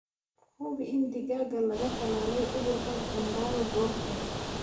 Hubi in digaaga laga tallaalay cudurka Gumboro goor hore.